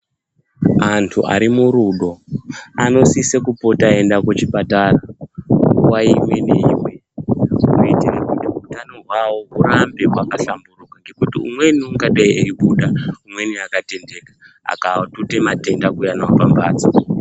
Antu ari murudo anosise kupota eienda kuchipatara nguwa ngenguwa kuitire kuti utano hwavo hurambe hwakahlamburuka ngekuti umweni ungadeyi eibuda umweni akatendeka akandootuta matenda kuuya nawo pamhatso.